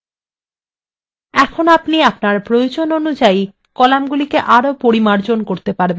এখন আপনি প্রয়োজন অনুযায়ী কলামগুলি আরো পরিমার্জন করতে পারবেন